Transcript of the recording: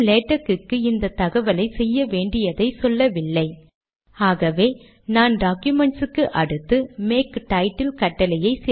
மீண்டும் கம்பைல் செய்ய டாக்குமெண்ட் பழைய நிலைக்கு போய்விட்டது